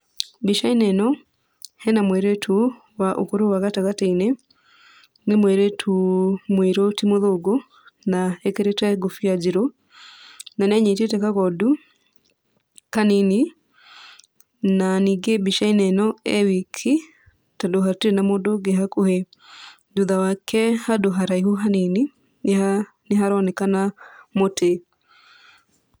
Mbica-inĩ ĩno, hena mũirĩtu wa ũkũrũ wa gatagatĩ-inĩ. Nĩ mũirĩtu mũĩrũ, ti mũthũngũ na ekĩrĩte ngũbia njirũ, na nĩanyitĩte kagondu kanini. Na ningĩ mbica-inĩ ĩno e wiki, tondũ hatirĩ na mũndũ ũngĩ hakuhĩ. Thutha wake handũ haraihu hanini, nĩha nĩharonekana mũtĩ.